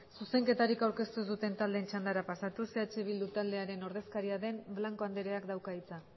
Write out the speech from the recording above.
zuzenketari aurkeztu ez duten taldeen txandara pasatuz eh bildu taldearen ordezkaria den blanco andreak dauka hitza